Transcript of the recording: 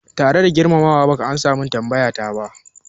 Tare da girmama wa, baka amsa min tambayata ba